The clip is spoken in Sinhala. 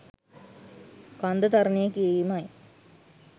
කන්ද තරණය කිරීමයි.